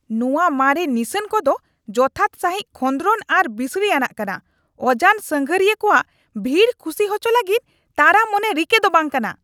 ᱱᱚᱶᱟ ᱢᱟᱨᱮ ᱱᱤᱥᱟᱹᱱ ᱠᱚᱫᱚ ᱡᱚᱛᱷᱟᱛ ᱥᱟᱹᱦᱤᱡ ᱠᱷᱚᱸᱫᱨᱚᱱ ᱟᱨ ᱵᱤᱥᱲᱤ ᱟᱱᱟᱜ ᱠᱟᱱᱟ, ᱚᱡᱟᱱ ᱥᱟᱺᱜᱷᱟᱨᱤᱭᱟᱹ ᱠᱚᱣᱟᱜ ᱵᱷᱤᱲ ᱠᱩᱥᱤ ᱦᱚᱪᱚ ᱞᱟᱹᱜᱤᱫ ᱛᱟᱨᱟ ᱢᱚᱱᱮ ᱨᱤᱠᱟᱹ ᱫᱚ ᱵᱟᱝ ᱠᱟᱱᱟ ᱾